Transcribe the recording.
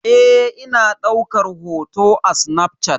Eh ina daukar hoto da snafshat.